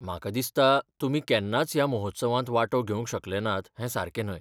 म्हाका दिसता, तुमी केन्नाच ह्या महोत्सवांत वांटो घेवंक शकले नात हें सारकें न्हय .